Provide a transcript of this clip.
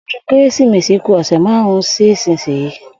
O̩dún Kérésìmesì ku ò̩sè̩ márùn-ún sí ìsinyìí